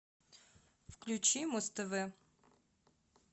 включи муз тв